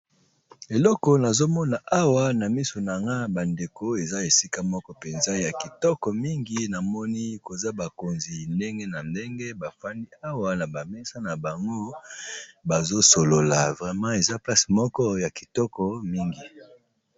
Eloko nazomona Esika Oyo badeko Ezra place Moko yakitoko mingi Nazo mona bakonzi ya ndege na ndege